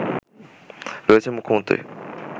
রয়েছেন মুখ্যমন্ত্রী